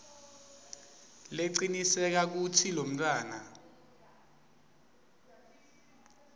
lecinisekisa kutsi lomntfwana